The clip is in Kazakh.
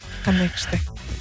қандай күшті